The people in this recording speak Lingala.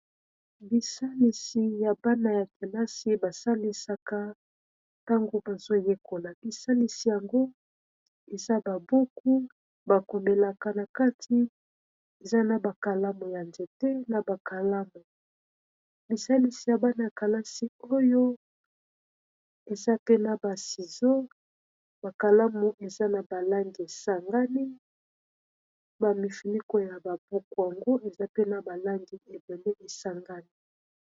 bisalisi ya bana ya kelasi basalisaka tango bazoyekola bisalisi yango eza babuku bakomelaka na kati eza na bakalamu ya nzete na bakalamu bisalisi ya bana ya kelasi oyo eza pe na basizo bakalamu eza na balangi esangani bamifinikoya babuku yango eza pe na balangi ebele esangani